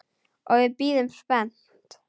Og við bíðum spennt.